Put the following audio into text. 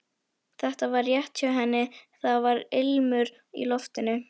Þetta var rétt hjá henni, það var ilmur í loftinu.